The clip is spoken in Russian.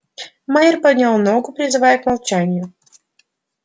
майер поднял ногу призывая к молчанию